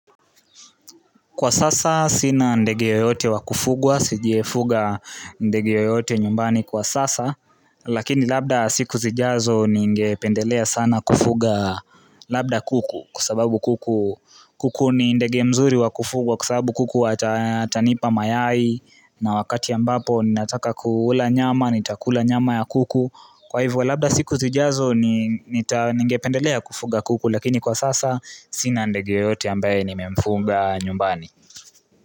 Kwa sasa sina ndege yoyote wa kufugwa, sijafuga ndege yoyote nyumbani kwa sasa Lakini labda siku zijazo ningependelea sana kufuga labda kuku Kwa sababu kuku ni ndege mzuri wa kufugwa kwa sababu kuku atanipa mayai na wakati ambapo ninataka kula nyama, nitakula nyama ya kuku Kwa hivyo labda siku zijazo ningependelea kufuga kuku Lakini kwa sasa sina ndege yoyote ambaye nimemfuga nyumbani.